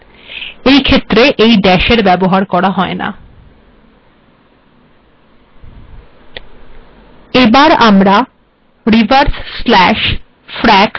এবার আমরা \frac কমান্ডের বিষয়ে আলোচনা করব এই কমান্ড ভগ্নাংশ লিখতে ব্যবহৃত হয়